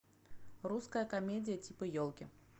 русская комедия типа елки